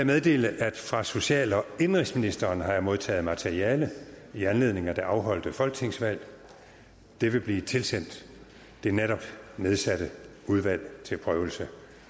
meddele at fra social og indenrigsministeren har jeg modtaget materiale i anledning af det afholdte folketingsvalg det vil blive tilsendt det netop nedsatte udvalg til prøvelse